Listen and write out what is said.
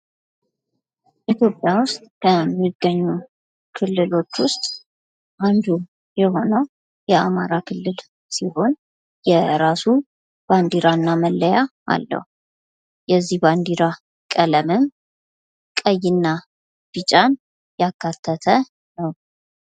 ኢትዮጵያ ውስጥ ከሚገኙ ክልሎች ውስጥ አንዱ የሆነው የአማራ ክልል ሲሆን የራሱ ባንዲራና መለያ አለዉ። የዚህ ባንዲራ ቀለምንም ቀይና ቢጫን የአካተተ ነው።